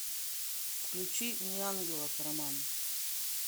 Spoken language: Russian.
включи неангелов роман